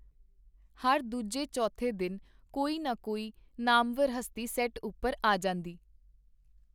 ਹਰ ਦੂਜੇ ਚੌਥੇ ਦਿਨ ਕੋਈ ਨਾ ਕੋਈ ਨਾਮਵਰ ਹਸਤੀ ਸੈੱਟ ਉੱਪਰ ਆ ਜਾਂਦੀ.